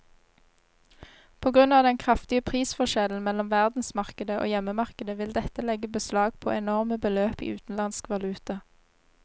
På grunn av den kraftige prisforskjellen mellom verdensmarkedet og hjemmemarkedet vil dette legge beslag på enorme beløp i utenlandsk valuta.